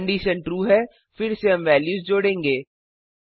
condition true है फिर से हम वेल्यूज जोडेंगे